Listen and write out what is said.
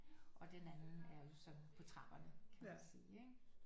Og den anden er jo sådan på trapperne kan man sige ikke